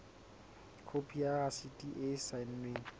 khopi ya rasiti e saennweng